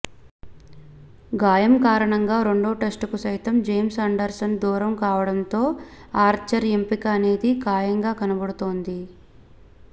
గాయం కారణంగా రెండో టెస్టుకు సైతం జేమ్స్ అండర్సన్ దూరం కావడంతో ఆర్చర్ ఎంపిక అనేది ఖాయంగా కనబడుతోంది